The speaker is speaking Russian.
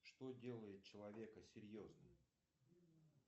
что делает человека серьезным